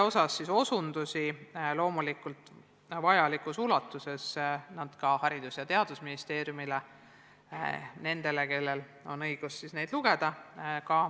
Osundusi selle kohta – loomulikult vajalikus ulatuses – annavad nad teada ka Haridus- ja Teadusministeeriumile, st nendele, kellel on õigus seda teavet lugeda.